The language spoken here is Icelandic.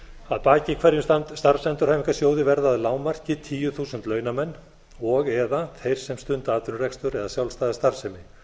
að baki hverjum starfsendurhæfingarsjóði verði að lágmarki tíu þúsund launamenn og eða þeir sem stunda atvinnurekstur eða sjálfstæða starfsemi